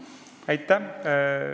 Aitäh!